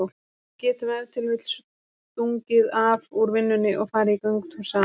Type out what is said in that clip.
Við getum ef til vill stungið af úr vinnunni og farið í göngutúr saman.